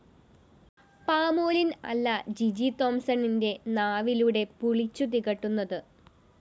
palmolein‍ അല്ല ജിജി തോംസണ്‍ന്റെ നാവിലൂടെ പുളിച്ചു തികട്ടുന്നത്